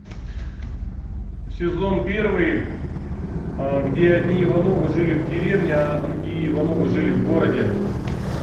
сезон первый где одни ивановы жили в деревне а другие ивановы жили в городе